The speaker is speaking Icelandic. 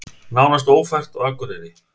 Nánast ófært á Akureyri